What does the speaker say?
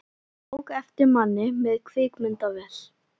Ég tók eftir manni með kvikmyndavél.